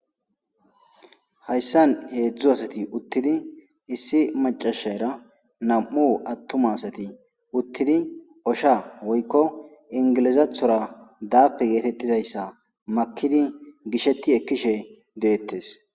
hayssan heedzdzu asati uttidi issi macashara nam7u attuma asati uttidi osha woykko ingilizathora daappe geetettizayssa makidi gishetti ekkishe deettes